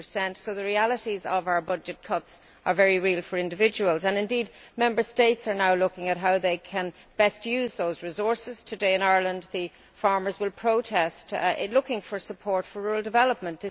2 So our budget cuts are very much a reality for individuals, and indeed Member States are now looking at how they can best use those resources. Today in Ireland, farmers will be protesting, looking for support for rural development.